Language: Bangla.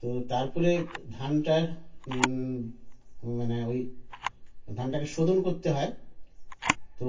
তো তারপরে ধানটার উউ মানে ঐ ধানটাকে শোধন করতে হয় তো